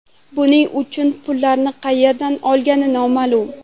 Buning uchun pullarni qayerdan olgani noma’lum.